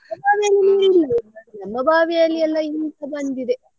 ನಮ್ಮ ಬಾವಿಯಲ್ಲಿ ನೀರಿಲ್ಲ ನಮ್ಮ ಬಾವಿಯಲ್ಲಿ ಎಲ್ಲ ಇಂಗುತ್ತಾ ಬಂದಿದೆ.